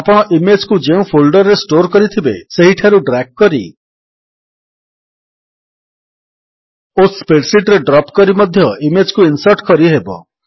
ଆପଣ ଇମେଜ୍ କୁ ଯେଉଁ ଫୋଲ୍ଡର୍ ରେ ଷ୍ଟୋର୍ କରିଥିବେ ସେହିଠାରୁ ଡ୍ରାଗ୍ କରି ଓ ସ୍ପ୍ରେଡ୍ ଶୀଟ୍ ରେ ଡ୍ରପ୍ କରି ମଧ୍ୟ ଇମେଜ୍ କୁ ଇନ୍ସର୍ଟ କରିହେବ